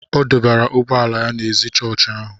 ọ dọbara ụgbọ ala ya ná ézì chọọchị ahụ